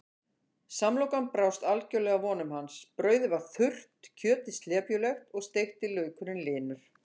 Samlokan brást algjörlega vonum hans, brauðið var þurrt, kjötið slepjulegt og steikti laukurinn linur.